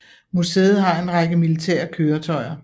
Museet har en række militære køretøjer